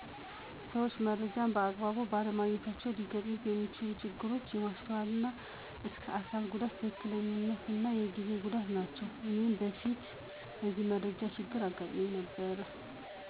ሰዎች መረጃን በአግባቡ ባለማግኘታቸው ሊገጥሙት የሚችሉ ችግሮች የማስተዋል እና እስከ አካል ጉዳቶች፣ የትክክለኛነት እና የጊዜ ጉዳት ናቸው። እኔም በፊት እንደዚህ የመረጃ ችግር አጋጥሞኛል።